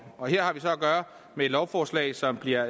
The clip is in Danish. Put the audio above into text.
og her har vi så at gøre med et lovforslag som bliver